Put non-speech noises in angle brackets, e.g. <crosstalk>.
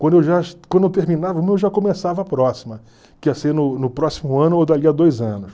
Quando eu <unintelligible> quando eu terminava uma, eu já começava a próxima, que ia ser no no próximo ano ou dali a dois anos.